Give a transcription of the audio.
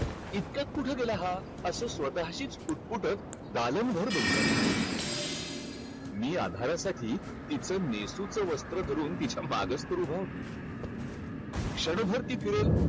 इतक्यात कुठं गेला हा? असं स्वतःशीच पुटपुटत दालनभर बघू लागली. मी आधारासाठी तिथं नेसुत वस्त्र धरून तिच्या मागंच तर उभा होतो. क्षणभर ती फिरेल,